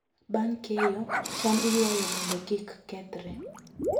Bang' keyo, cham iywayo mondo kik kethre.